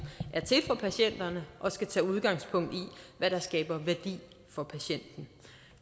er til for patienterne og skal tage udgangspunkt i hvad der skaber værdi for patienten